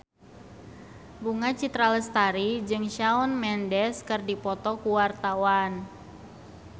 Bunga Citra Lestari jeung Shawn Mendes keur dipoto ku wartawan